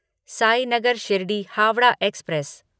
Sainagar Shirdi Howrah express